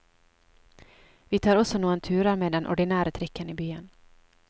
Vi tar også noen turer med den ordinære trikken i byen.